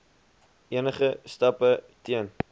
enige stappe teen